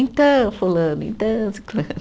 Então, fulano, então, ciclano.